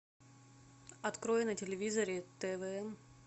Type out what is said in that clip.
открой на телевизоре твн